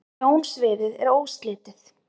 sjónsviðið er óslitið